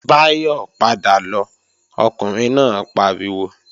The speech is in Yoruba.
Báyọ̀ padà lọ, Ọkùnrin náà pariwo!